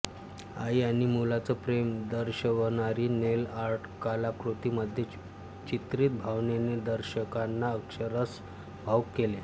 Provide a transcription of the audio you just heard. आई आणि मुलाच प्रेम दर्षवनारी नेल आर्ट कलाकृति मध्ये चित्रित भावनेनी दर्षकांना अक्षरषः भावूक केले